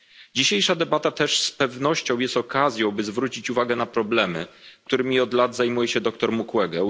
Dzisiejsza debata też z pewnością jest okazją, by zwrócić uwagę na problemy, którymi od lat zajmuje się dr Mukwege.